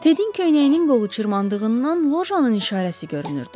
Tedin köynəyinin qolu cırmandığından lojanın nişanəsi görünürdü.